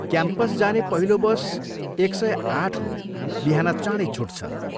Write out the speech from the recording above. Campus जाने पहिलो bus एक सय आठ हो, बिहान चाँडै छुट्छ।